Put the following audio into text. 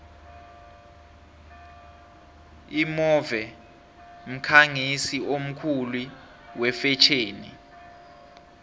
imove mkhangisi omkhulu wefetjheni